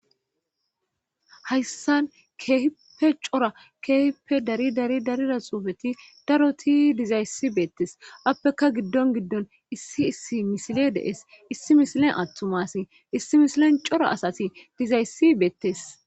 hayssan keehipe cora keehippe dari dari darida xuufeti daroti dizayssi beettes appeka giddon giddon issi issi misile de'ees issi misilen attuma asi issi misilen cora asati dizayssi beettes